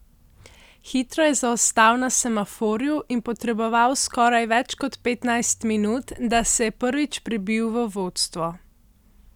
Hitro je zaostal na semaforju in potreboval skoraj več kot petnajst minut, da se je prvič prebil v vodstvo.